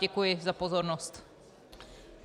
Děkuji za pozornost.